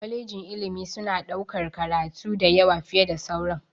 kwaleji na ilimi suna ɗaukar karatu da yawa fiye da sauran.